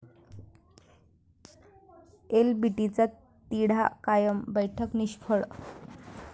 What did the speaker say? एलबीटीचा तिढा कायम, बैठका निष्फळ!